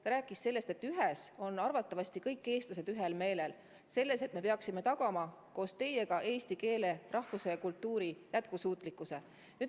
Ta rääkis sellest, et ühes on arvatavasti kõik eestlased ühel meelel: selles, et me peaksime tagama kõik koos eesti keele, rahvuse ja kultuuri jätkusuutlikkuse.